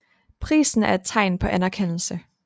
Prisen er et tegn på anerkendelse